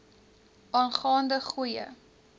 aangaan de goeie